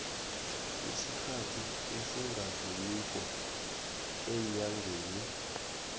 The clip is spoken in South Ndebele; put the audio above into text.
isikhathi esingadluliko eenyangeni